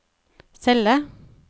celle